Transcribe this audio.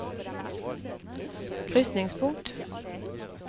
krysningspunkt